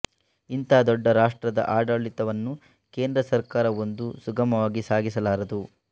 ಇಂಥ ದೊಡ್ಡ ರಾಷ್ರ್ಟದ ಆಡಳಿವನ್ನು ಕೇಂದ್ರಸರಕಾ ರವೊಂದೆ ಸುಗಮವಾಗಿ ಸಾಗಿಸಲಾರದು